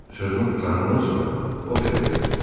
Sözümü qutarandan sonra o belə dedi: